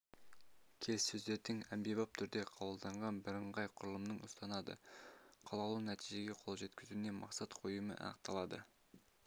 келіссөздердің әмбебап түрде қабылданған бірыңғай құрылымын ұстанады қалаулы нәтижеге қолжеткізуіне мақсат қоюымен анықталады